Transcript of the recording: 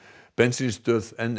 bensínstöð n